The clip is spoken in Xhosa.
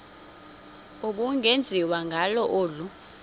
ubungenziwa ngalo olu